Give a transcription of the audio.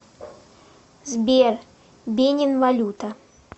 сбер бенин валюта